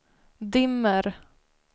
dimmer